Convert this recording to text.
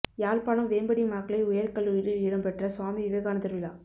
யாழ்ப்பாணம் வேம்படி மகளிர் உயர் கல்லூரியில் இடம்பெற்ற சுவாமி விவேகானந்தர் விழா